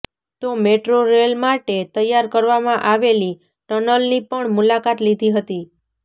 તો metro rail માટે તૈયાર કરવામા આવેલી ટનલની પણ મુલાકાત લીધી હતી